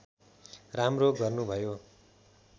राम्रो गर्नुभयो